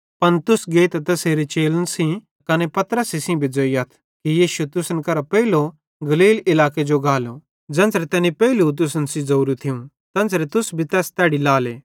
पन तुस गेइतां तैसेरे चेलन सेइं त कने पतरसे सेइं भी ज़ोइयथ कि यीशु तुसन करां पेइलो गलील इलाके जो गालो ज़ेन्च़रां तैनी पेइलू तुसन सेइं ज़ोरू थियूं तेन्च़रां तुस तैस तैड़ी लाले